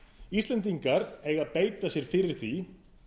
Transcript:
íslendingar eiga að beita sér fyrir því